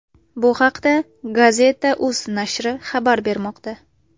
Bu haqda Gazeta.uz nashri xabar bermoqda.